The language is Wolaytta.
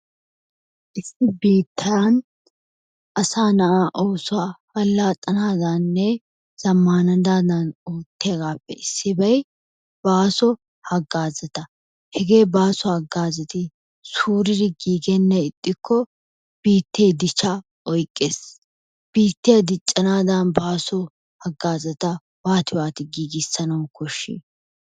Issi biittan asa na'aa oosuwa allaxanadaninne zammananaadan oottiyaabappe issibay baaso hagaazzata. Hege baaso hagazzati suuridi giigenaan ixxikko biitte dichcha oyqqees. Biittiya diccanadan baaso hagazzata waati waati giiggissanawu koshshi?